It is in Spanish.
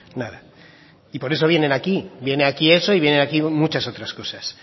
nada y por eso vienen aquí viene aquí eso y viene aquí muchas otras cosas